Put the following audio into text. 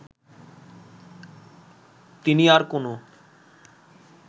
তিনি আর কোনো